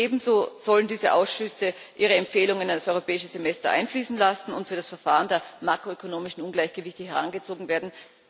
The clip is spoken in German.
Ebenso sollen diese Ausschüsse ihre Empfehlungen in das Europäische Semester einfließen lassen und für das Verfahren der makroökonomischen Ungleichgewichte herangezogen werden.